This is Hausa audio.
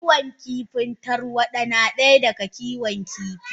Kiwon kifin tarwada na daya daga Kiwon kifi.